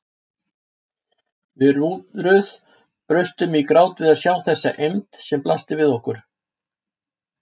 Við Ruth brustum í grát við að sjá þessa eymd sem blasti við okkur.